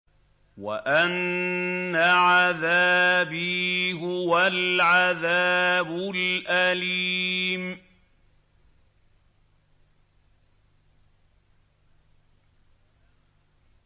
وَأَنَّ عَذَابِي هُوَ الْعَذَابُ الْأَلِيمُ